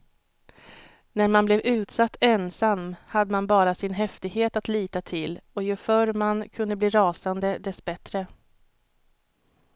När man blev utsatt ensam hade man bara sin häftighet att lita till och ju förr man kunde bli rasande, dess bättre.